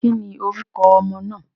Ki ni orúko ọmọ náà.